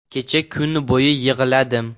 Kecha kun bo‘yi yig‘ladim.